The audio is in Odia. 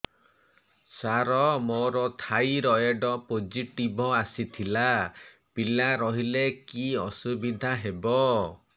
ସାର ମୋର ଥାଇରଏଡ଼ ପୋଜିଟିଭ ଆସିଥିଲା ପିଲା ରହିଲେ କି ଅସୁବିଧା ହେବ